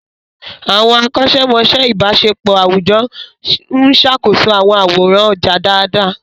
Àwọn akọ́ṣẹ́mọṣẹ́ ìbáṣepọ̀ àwùjọ ń ṣàkóso àwọn àwòrán ọjà dáadáa.